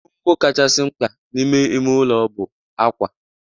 Ngwongwo kachasị mkpa n'ime ime ụlọ bụ akwa.